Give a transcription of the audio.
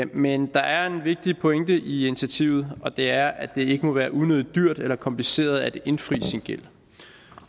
men der er en vigtig pointe i initiativet og det er at det ikke må være unødig dyrt eller kompliceret at indfri sin gæld